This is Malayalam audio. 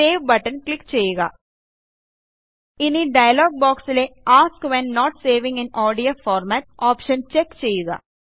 സേവ് ബട്ടൺ ക്ലിക്ക് ചെയ്യുക ഇനി ഡയലോഗ് ബോക്സിലെ ask when not saving in ODF format option check ചെയ്യുക